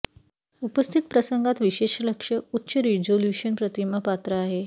उपस्थित प्रसंगात विशेष लक्ष उच्च रिझोल्यूशन प्रतिमा पात्र आहे